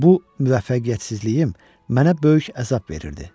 Bu müvəffəqiyyətsizliyim mənə böyük əzab verirdi.